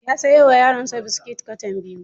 Ya sayo wa yaronsa biskit katan biyu.